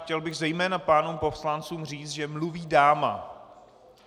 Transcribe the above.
Chtěl bych zejména pánům poslancům říci, že mluví dáma.